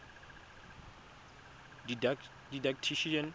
didactician